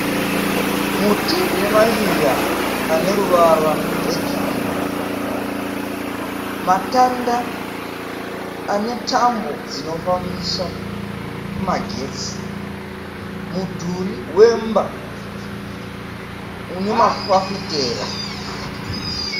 Muti une mashizha ane ruvara rwegirini, matanda ane tambo dzinofambisa magetsi, mudhuri wemba une mafafitera.